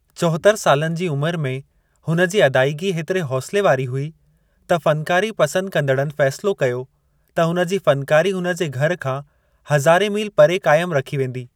चोहतरि सालनि जी उमिरि में हुनजी अदाइगी हेतरि हौसले वारी हुई त फ़नकारी पसंदि कंदड़नि फै़सलो कयो त हुनजी फ़नकारी हुनजे घर खां हजारें मील परे कायमु रखी वेंदी।